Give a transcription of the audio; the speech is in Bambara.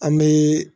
An bɛ